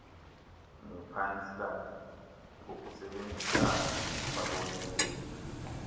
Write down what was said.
nepansalb ngokusebenzisana nababoneleli